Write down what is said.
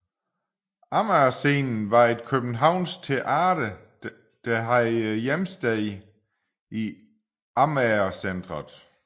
Amager Scenen var et københavnsk teater der havde hjemsted i Amager Centret